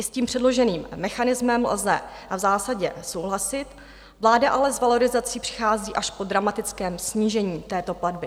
I s tím předloženým mechanismem lze v zásadě souhlasit, vláda ale s valorizací přichází až po dramatickém snížení této platby.